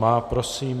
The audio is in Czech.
Má. Prosím.